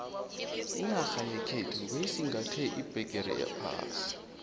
inarha yekhethu beyisingathe iphegere yephasi